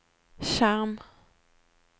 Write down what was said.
skjerm